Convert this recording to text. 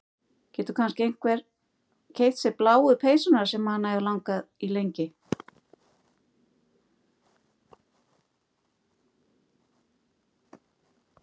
Getur kannski keypt sér bláu peysuna sem hana hefur langað í lengi.